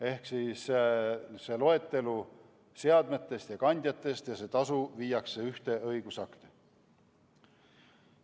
Ehk seadmete ja kandjate loetelu ning tasu viiakse ühte õigusakti.